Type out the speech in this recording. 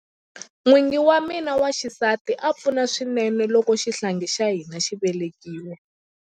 N'wingi wa mina wa xisati a pfuna swinene loko xihlangi xa hina xi velekiwa.